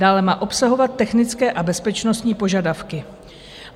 Dále má obsahovat technické a bezpečnostní požadavky.